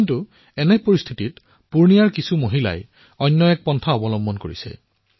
কিন্তু এই পৰিস্থিতিৰ মাজতেই পুৰ্ণিয়াৰ কিছুমান মহিলাই অন্য এক পথ গ্ৰহণ কৰিলে